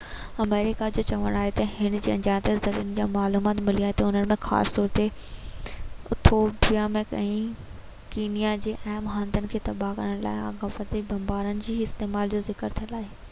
آمريڪا جو چوڻ آهي تہ هن کي اڻڃاتل زريعن کان معلومات ملي آهي جنهن ۾ خاص طور تي ايٿوپيا ۽ ڪينيا جي اهم هنڌن کي تباه ڪرڻ لاءِ آپگهاتي بمبارن جي استعمال جو ذڪر ٿيل آهي